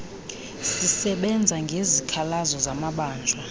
zisebenza ngezikhalazo zamabanjwa